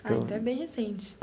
Ah, então é bem recente.